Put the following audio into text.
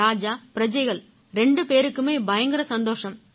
ராஜாபிரஜைகள் ரெண்டு பேருக்குமே பயங்கர சந்தோஷம்